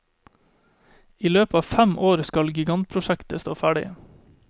I løpet av fem år skal gigantprosjektet stå ferdig.